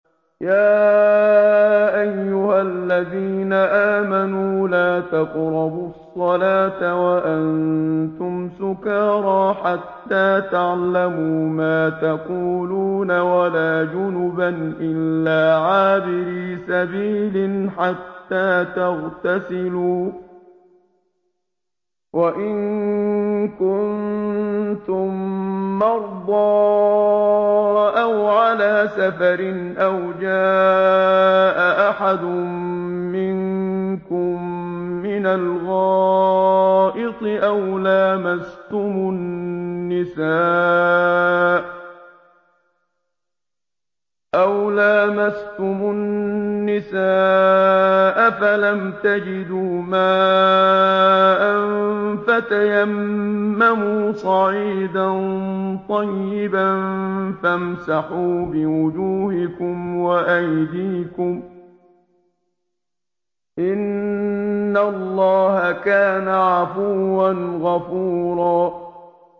يَا أَيُّهَا الَّذِينَ آمَنُوا لَا تَقْرَبُوا الصَّلَاةَ وَأَنتُمْ سُكَارَىٰ حَتَّىٰ تَعْلَمُوا مَا تَقُولُونَ وَلَا جُنُبًا إِلَّا عَابِرِي سَبِيلٍ حَتَّىٰ تَغْتَسِلُوا ۚ وَإِن كُنتُم مَّرْضَىٰ أَوْ عَلَىٰ سَفَرٍ أَوْ جَاءَ أَحَدٌ مِّنكُم مِّنَ الْغَائِطِ أَوْ لَامَسْتُمُ النِّسَاءَ فَلَمْ تَجِدُوا مَاءً فَتَيَمَّمُوا صَعِيدًا طَيِّبًا فَامْسَحُوا بِوُجُوهِكُمْ وَأَيْدِيكُمْ ۗ إِنَّ اللَّهَ كَانَ عَفُوًّا غَفُورًا